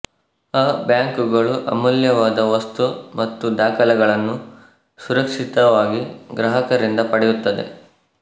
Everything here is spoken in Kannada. ಅ ಬ್ಯಾಂಕುಗಳು ಅಮೂಲ್ಯವಾದ ವಸ್ತು ಮತ್ತು ದಾಖಲೆಗಳನ್ನು ಸುರಕ್ಷಿತವಾಗಿ ಗ್ರಾಹಕರಿಂದ ಪಡೆಯುತ್ತದೆ